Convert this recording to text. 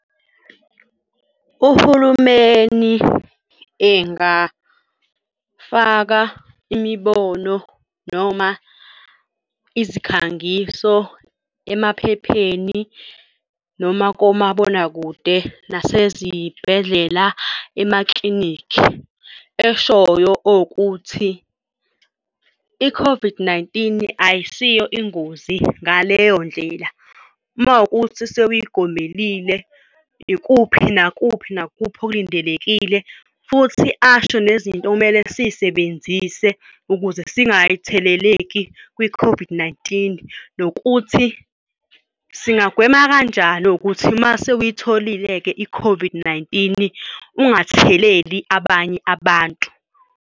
Uhulumeni engafaka imibono noma izikhangiso emaphepheni noma komabonakude nasezibhedlela emaklinikhi eshoyo okuthi i-COVID-19, ayisiyo ingozi ngaleyo ndlela. Uma ukuthi sewuyigomelile ikuphi nakuphi nakuphi okulindelekile, futhi asho nezinto okumele siy'sebenzise ukuze singatheleleki kwi-COVID-19 nokuthi singagwema kanjani ukuthi uma sewuyitholile-ke i-COVID-19 ungatheleli abanye abantu.